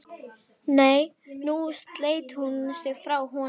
Nei, nú sleit hún sig frá honum.